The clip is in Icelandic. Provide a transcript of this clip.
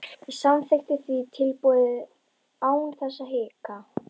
Ég samþykkti því tilboðið án þess að hika.